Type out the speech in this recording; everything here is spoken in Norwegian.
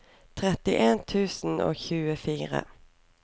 trettien tusen og tjuefire